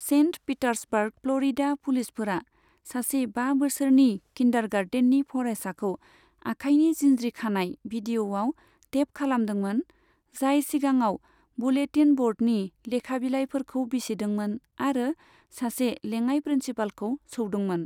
Saint Petersburg, Florida पुलिसफोरा सासे बा बोसोरनि किन्डारगार्टेननि फरायसाखौ आखायनि जिनज्रि खानाय भिदिय'याव टेप खालामदोंमोन, जाय सिगाङाव बुलेटिन बर्डनि लेखाबिलायफोरखौ बिसिदोंमोन आरो सासे लेङाय प्रिन्सिपालखौ सौदोंमोन।